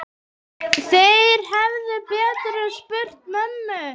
Þeir hefðu betur spurt mömmu.